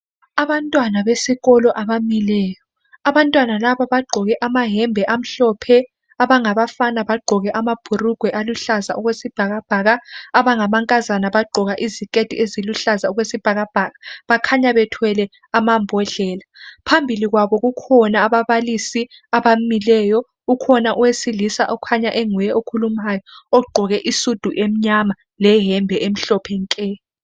Abantwana besikolo abamileyo abantwana lababagqoke amayembe amhlophe abafana bagqoke amabhulugwe aluhlaza okwesibhakabhaka amankazana agqoke iziketi eziluhlaza okwesibhakabhaka bakhanya bethwele amambodlela phambilikwabo kukhona ababalisi abamileyo ukhona owesilisa okhanya enguye okhulumayo ogqoke isudu emnyama leyembe emhlophe nke.